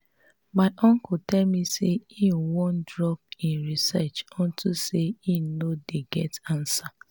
my uncle tell me say e wan drop im research unto say e no dey get answer